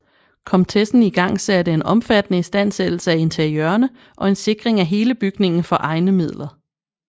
Komtessen igangsatte en omfattende istandsættelse af interiørerne og en sikring af hele bygningen for egne midler